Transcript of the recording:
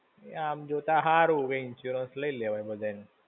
આમ જોતા હારું. Insurance લઇ લેવાય બધા નો.